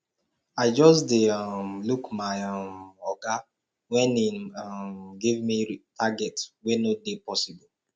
i just dey um look my um oga wen im um give me target wey no dey possible